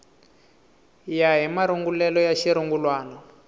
ya hi marungulelo ya xirungulwana